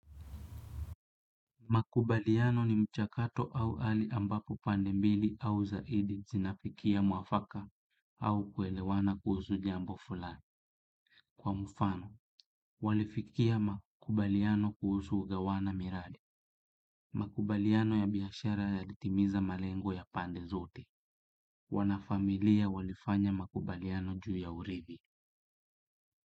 Makumbaliano ni mchakato au hali ambapo pande mbili au zaidi zinafikia mwafaka au kuelewana jambo fulani. Kwa mfano, walifikia makubaliano kuhusu kugawana miradi. Makubaliano ya biashara yaliditimiza malengo ya pande zote. Wanafamilia walifanya makubaliano juu ya uribi.